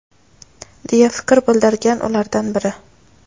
deya fikr bildirgan ulardan biri.